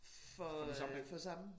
For øh for samme